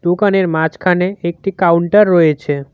দোকানের মাঝখানে একটি কাউন্টার রয়েছে।